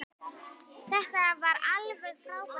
Þetta var alveg frábær tími.